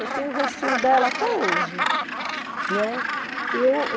Eu tenho o rostinho dela até hoje, né. E eu